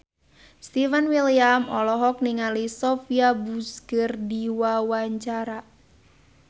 Stefan William olohok ningali Sophia Bush keur diwawancara